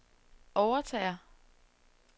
overtager